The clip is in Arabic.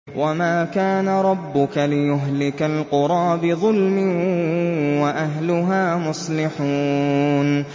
وَمَا كَانَ رَبُّكَ لِيُهْلِكَ الْقُرَىٰ بِظُلْمٍ وَأَهْلُهَا مُصْلِحُونَ